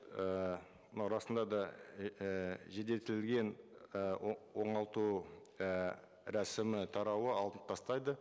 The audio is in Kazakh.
ііі мынау расында да ііі і оңалту і рәсімі тарауы алынып тастайды